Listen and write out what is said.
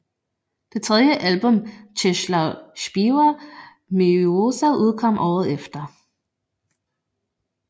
Det tredje album Czesław Śpiewa Miłosza udkom året efter